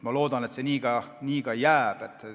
Ma loodan, et see nii ka jääb.